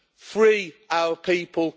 Free our people.